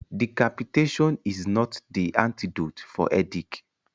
Decapitation is not the antedote for headache.